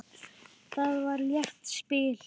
Það var létt spil.